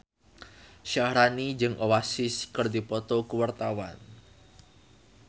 Syaharani jeung Oasis keur dipoto ku wartawan